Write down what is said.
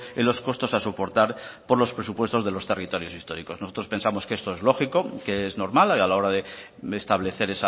en los costos a soportar por los presupuestos de los territorios históricos nosotros pensamos que esto es lógico que es normal a la hora de establecer